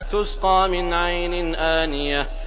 تُسْقَىٰ مِنْ عَيْنٍ آنِيَةٍ